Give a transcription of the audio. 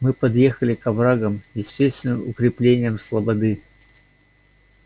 мы подъехали к оврагам естественным укреплениям слободы